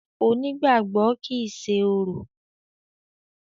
Onígbàgbọ́ kìí ṣe orò.